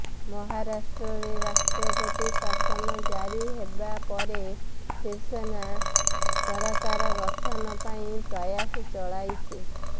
ମହାରାଷ୍ଟ୍ରରେ ରାଷ୍ଟ୍ରପତି ଶାସନ ଜାରି ହେବା ପରେ ଶିବସେନା ସରକାର ଗଠନ ପାଇଁ ପ୍ରୟାସ ଚଳାଇଛି